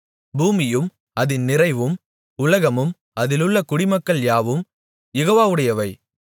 பூமியும் அதின் நிறைவும் உலகமும் அதிலுள்ள குடிமக்கள் யாவும் யெகோவாவுடையவை